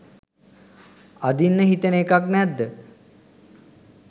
අදින්න හිතෙන එකක් නැද්ද?